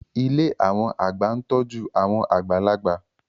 Ilé àwọn àgbà ń tọ́jú àwọn àgbàlagbà